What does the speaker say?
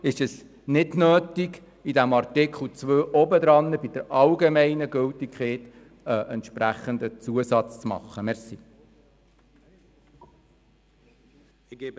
Es ist nicht nötig, beim vorangehenden Artikel zur allgemeinen Gültigkeit einen entsprechenden Zusatz anzubringen.